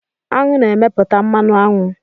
Aṅụ na-emepụta mmanụ aṅụ